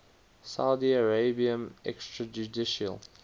saudi arabian extrajudicial